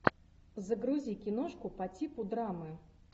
загрузи киношку по типу драмы